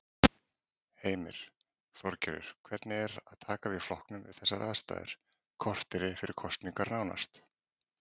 Heimir: Þorgerður, hvernig er að taka við flokknum við þessar aðstæður, korteri fyrir kosningar nánast?